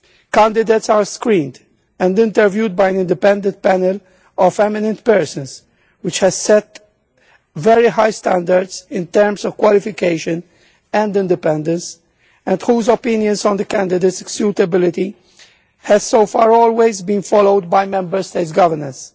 Candidates are screened and interviewed by an independent panel of eminent persons, which has set very high standards in terms of qualification and independence and whose opinions on the candidates' suitability have so far always been followed by Member States' governments.